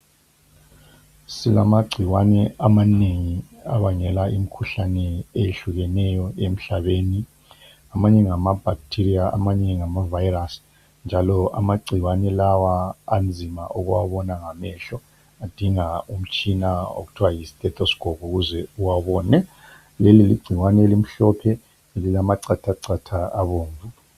Silamagcikwane amanengi abangela imkhuhlane eyehlukeneyo emhlabeni. Amanye ngama bhakithiriya amanye ngama vayirasi njalo amagcikwane lawa anzima ukuwabona ngamehlo adinga umtshina okuthiwa yi thestoskopu ukuze uwabone. Leli ligcikwane elimhlophe elilamacha chata abomvu.